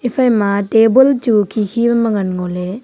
ephai ma table chu khi khi ma ngan ngo ley.